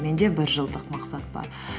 менде бір жылдық мақсат бар